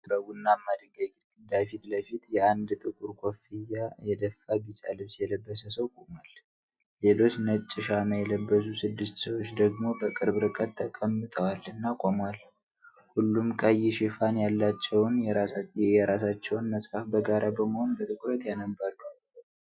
በቡናማ ድንጋይ ግድግዳ ፊት ለፊት፤ አንድ ጥቁር ኮፍያ የደፋ ቢጫ ልብስ የለበሰ ሰው ቆሟል። ሌሎች ነጭ ሻማ የለበሱ ስድስት ሰዎች ደግሞ በቅርብ ርቀት ተቀምጠዋል እና ቆመዋል። ሁሉም ቀይ ሽፋን ያላቸውን የየራሳቸውን መጽሐፍ በጋራ በመሆን በትኩረት ያነባሉ።